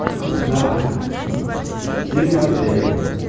да психоделик